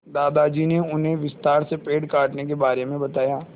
दादाजी ने उन्हें विस्तार से पेड़ काटने के बारे में बताया